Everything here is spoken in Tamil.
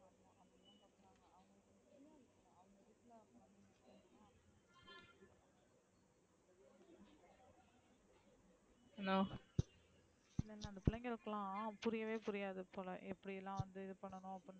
சில பிளைங்களுக்கு லாம் புரியவே புரியாது போல எப்டிலாம் வந்து இதுபன்னனும்,